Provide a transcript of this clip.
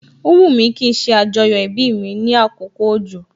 O wumi kí n ṣe ajoyo ibi mi ní àkókò òjò